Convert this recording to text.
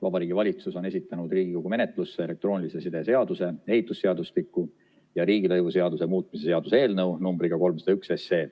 Vabariigi Valitsus on esitanud Riigikogu menetlusse elektroonilise side seaduse, ehitusseadustiku ja riigilõivuseaduse muutmise seaduse eelnõu numbriga 301.